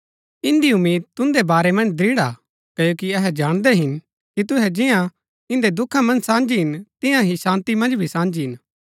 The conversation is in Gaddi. इन्दी उम्मीद तुन्दै बारै मन्ज दृढ़ हा क्ओकि अहै जाणदै हिन कि तुहै जियां इन्दै दुखा मन्ज साझी हिन तियां ही शान्ती मन्ज भी साझी हिन